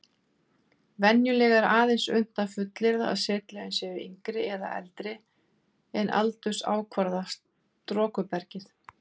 Venjulega er aðeins unnt að fullyrða að setlögin séu yngri eða eldri en aldursákvarðaða storkubergið.